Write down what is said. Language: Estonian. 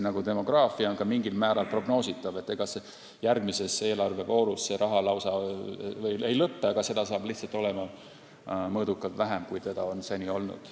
Aga demograafia on mingil määral prognoositav ja kindlasti võib öelda, et ega see raha järgmises eelarvevoorus veel lausa otsa ei lõpe, seda on lihtsalt mõõdukalt vähem, kui seni on olnud.